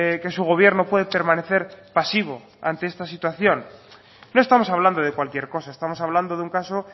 que su gobierno puede permanecer pasivo ante esta situación no estamos hablando de cualquier cosa estamos hablando de un caso